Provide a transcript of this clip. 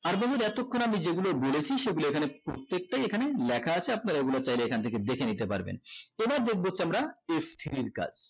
আর বন্ধুরা এতক্ষন আমি যেগুলো বলেছি সেগুলো এখানে প্রত্যেকটাই এখানে লেখা আছে আপনারা এই গুলো চাইলে এখন থেকে দেখে নিতে পারবেন তো এবার দেখবো হচ্ছে আমরা f three র কাজ